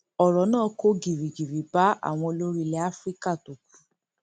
ọrọ náà kò gìrìgìrì bá àwọn olórí ilẹ afrika tó kù